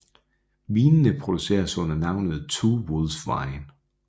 Vinene produceres under navnet Two Wolves Wine